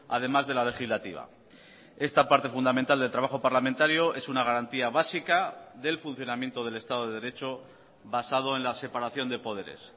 además de la legislativa esta parte fundamental de trabajo parlamentario es una garantía básica del funcionamiento del estado de derecho basado en la separación de poderes